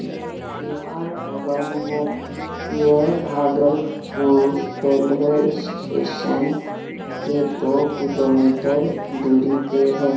यह विवाह भवन है यह भागलपुर रेल्वे स्टेशन के दो किलोमीटर दूरी पे है।